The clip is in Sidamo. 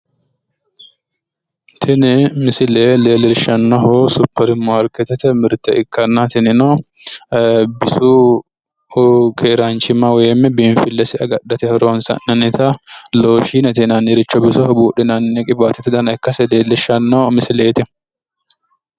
Tini misile leellishannohu supermaarkeetete mirte ikkanna tinino bisu keeraanchimma woyim bisu biinfillesi agadhate horoonsi'nannita looshiinete yinanniricho bisoho buudhinanni qiwaatete dana ikkase leellishannno misileeti.